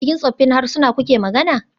A cikin tsoffin harsunan kuke magana?